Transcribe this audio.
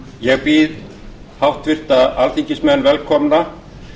ég býð háttvirta alþingismenn velkomna